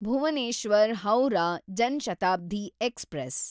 Bhuvneshwar Howrah Jan Shatabdi express